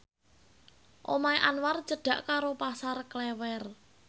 omahe Anwar cedhak karo Pasar Klewer